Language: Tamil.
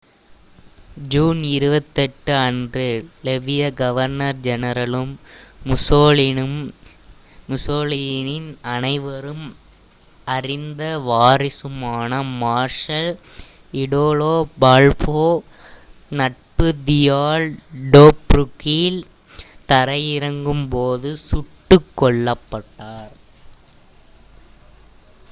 ஜூன் 28 அன்று லிபிய கவர்னர் ஜெனரலும் முசோலினியின் அனைவரும் அறிந்த வாரிசுமான மார்ஷல் இடாலோ பால்போ நட்பு தீயால் டோப்ரூக்கில் தரையிறங்கும் போது சுட்டுக் கொல்லப்பட்டார்